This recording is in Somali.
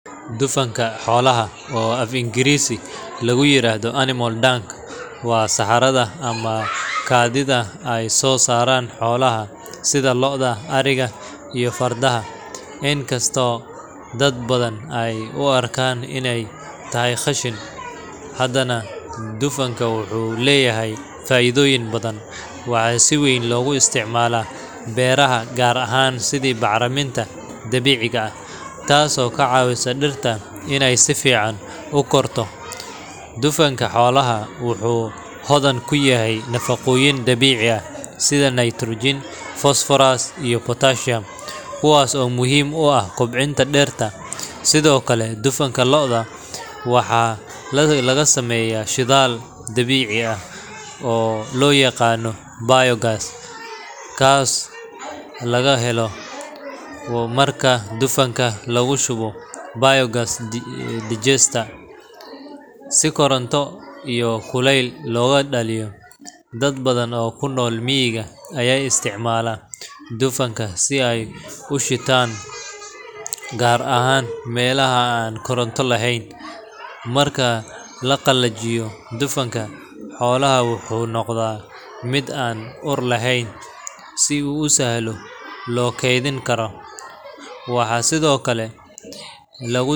Dufanka xoolaha, oo af-Ingiriisi lagu yiraahdo animal dung, waa saxarada ama kaadida ay soo saaraan xoolaha sida lo’da, ariga, iyo fardaha. Inkastoo dad badan ay u arkaan inay tahay qashin, haddana dufanku wuxuu leeyahay faa’iidooyin badan. Waxaa si weyn loogu isticmaalaa beeraha, gaar ahaan sidii bacriminta dabiiciga ah, taasoo ka caawisa dhirta inay si fiican u korto. Dufanka xoolaha wuxuu hodan ku yahay nafaqooyin dabiici ah sida nitrogen, phosphorus, iyo potassium kuwaas oo muhiim u ah koboca dhirta. Sidoo kale, dufanka lo’da waxaa laga sameeyaa shidaal dabiici ah oo loo yaqaan biogas, kaasoo laga helo marka dufanka lagu shubo biogas digester si koronto iyo kuleyl looga dhaliyo. Dad badan oo ku nool miyiga ayaa isticmaala dufanka si ay u shitaan, gaar ahaan meelaha aan koronto lahayn. Marka la qalajiyo, dufanka xoolaha wuxuu noqdaa mid aan ur lahayn oo si sahlan loo kaydin karo. Waxaa sidoo kale lagu.